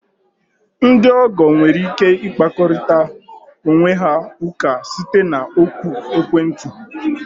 Ndị ọgọ nwere ike ịkpakorịta onwe ha ụka site na oku ekwentị.